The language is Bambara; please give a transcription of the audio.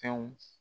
Fɛnw